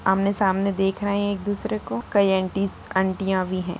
आमने-सामने देख रहे है एक दूसरे को काई आंटीज आंटियाँ भी हैं।